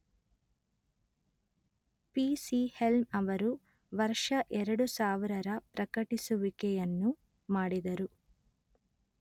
ಪಿ_letter ಸಿ_letter Helm ಅವರು ವರ್ಷ ಎರಡು ಸಾವಿರ ರ ಪ್ರಕಟಿಸುವಿಕೆಯನ್ನು ಮಾಡಿದರು